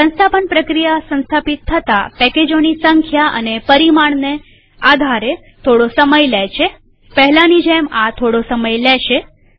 સંસ્થાપન પ્રક્રિયા સંસ્થાપિત થતા પેકેજોની સંખ્યા અને પરિમાણને આધારે થોડો સમય લે છેપહેલાની જેમ આ થોડો સમય લેશે